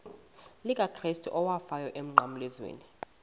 likakrestu owafayo emnqamlezweni